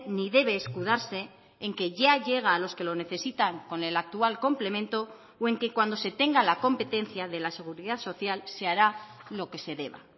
ni debe escudarse en que ya llega a los que lo necesitan con el actual complemento o en que cuando se tenga la competencia de la seguridad social se hará lo que se deba